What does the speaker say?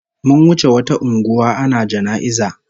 Mun wuce wata unguwa ana jana'iza